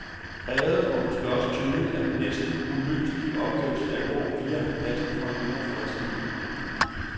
Præget og måske også tynget af den næsten uløselige opgaves alvor viger han pladsen for en yngre fredsformidler.